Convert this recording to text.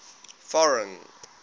foreign